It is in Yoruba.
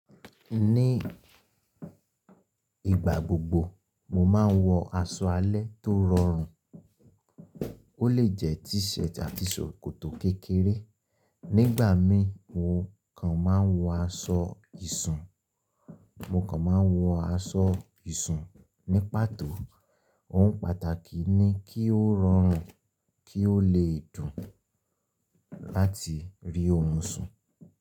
Ní ìgbà gbogbo mo máa ń wọ aṣọ alẹ́ tó rọrùn, ó lè jẹ t-shirt àti ṣòkòtò kékeré. Nígbà mi mo kàn máa ń wọ aṣọ ṣùn, mo kàn máa ń wọ aṣọ ìṣùn ní pàtó. Ohun pàtàkì ni kí ó rọrùn kí ó lè dùn láti rí orun sùn.